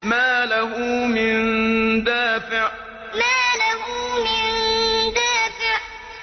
مَّا لَهُ مِن دَافِعٍ مَّا لَهُ مِن دَافِعٍ